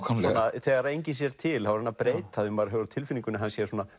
þegar enginn sér til þá er hann að breyta þeim maður hefur á tilfinningunni að hann sé